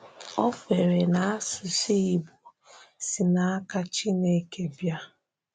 O kwere na asụsụ Igbo si n’aka Chineke bịa.